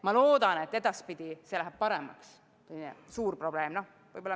Ma loodan, et edaspidi läheb selle suure probleemiga asi paremaks.